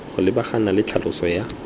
go lebagana le tlhaloso ya